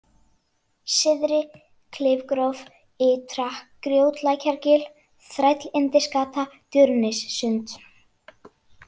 Syðri-Klifgróf, Ytra-Grjótlækjargil, Þrællyndisgata, Durnissund